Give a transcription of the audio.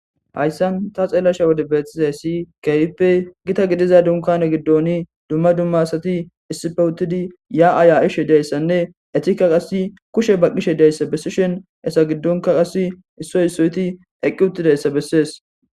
Hayssan ta xeellasha wode beethtizayssi keyippe gita gidiza dunkane giddoni dumma dumma asati issife wuttidi ya aaya'ishe dayssanne etika qasi kushe ba qishe deyssa bessishin esa giddonka qas issoy issoyti eqqi uttidayssa bessees.